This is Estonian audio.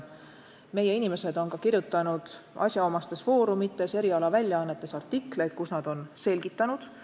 Meie kantselei inimesed on kirjutanud asjaomastes foorumites ja erialaväljaannetes artikleid, kus nad on seda teemat selgitanud.